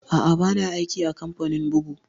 Aa, ba na aiki a kamfanin bugu